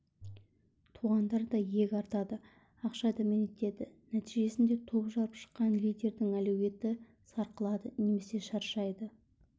туғандар да иек артады ақша дәметеді нәтижесінде топ жарып шыққан лидердің әлеуеті сарқылады немесе шаршайды